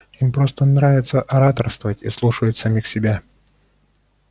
им просто нравится ораторствовать и слушают самих себя